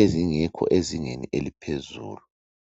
ezingekho ezingeni eliphezulu